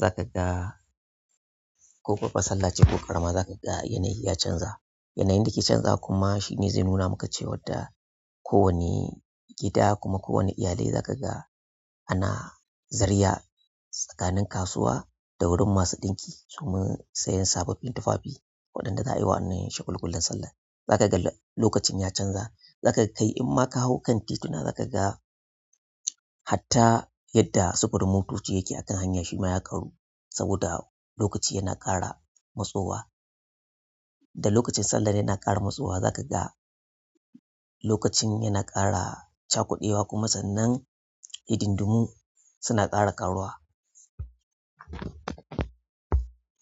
za ka ga ko babba sallah ce ko ƙarama za ka ga yanayi ya canza. Yanyin da ke canza kuma shine zai nuna maka cewadda kowane gida kuma kowane iyalai za ka ga ana zarya tsakanin kasuwa da wurin masu ɗinki domin sayen sababbin tufafi wanda za ayi wannan shagulgulan sallar zakaga lokacin ya canza. Za ka kai in ma ka hau kan tituna za ka ga hatta yadda sufurin motoci yake akan hanya shima ya ƙaru saboda lokaci yana ƙara matsowa da lokacin sallar yana ƙara matsowa za ka ga lokacin yana ƙara cakudewa kuma sannan hidin-dumu suna ƙara karuwa.